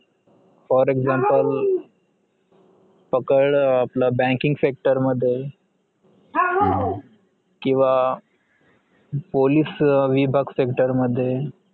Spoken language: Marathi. For example पकड अं आपलं banking sector मध्ये किंवा पोलीस विभाग sector मध्ये